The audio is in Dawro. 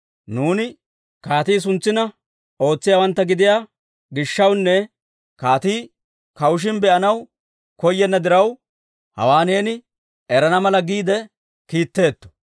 Nuuni kaatii suntsina ootsiyaawantta gidiyaa gishshawunne kaatii kawushishin be'anaw koyenna diraw, hawaa neeni erana mala giide kiitteetto.